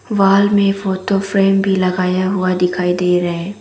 Wall में photo frame भी लगाया हुआ दिखाई दे रहे।